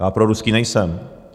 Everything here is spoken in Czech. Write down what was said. Já proruský nejsem.